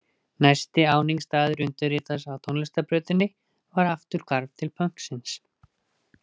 Næsti áningarstaður undirritaðs á tónlistarbrautinni var afturhvarf til pönksins.